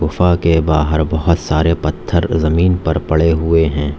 गुफ़ा के बाहर बहुत सारे पत्थर जमीन पर पड़े हुए हैं।